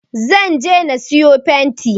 Zan je na sayo fenti